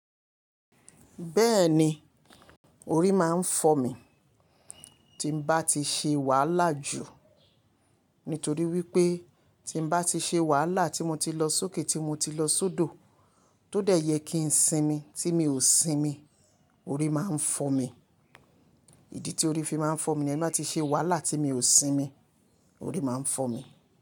Bẹ́ẹ̀ni, orí máa ń fọ mi tí n bá ti ṣe wàhálà jù. Nítorí wípé tí n bá ti ṣe wàhálà tí mo ti lọ sókè, tí mo ti lọ sódò, tó dẹ̀ yẹ kí ń sinmi tí mi ò sinmi, orí máa ń fọ́ mi. Ìdí tí orí fi máa ń fọ́ mi ni ẹ́ bá ti ṣe wàhálà tí mi ò sinmi, orí máa ń fọ́ mi.